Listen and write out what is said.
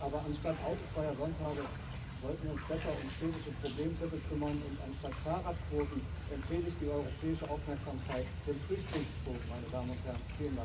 Aber anstatt autofreier Sonntage sollten wir uns besser um städtische Problemviertel kümmern, und anstatt Fahrradquoten empfehle ich, die europäische Aufmerksamkeit den Flüchtlingsquoten zu widmen, meine Damen und Herren.